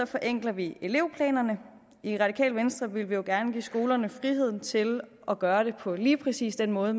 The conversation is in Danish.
forenkler vi elevplanerne i radikale venstre vil vi jo gerne give skolerne frihed til at gøre det på lige præcis den måde